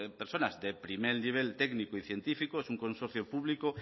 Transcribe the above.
personas de primer nivel técnico y científico es un consorcio público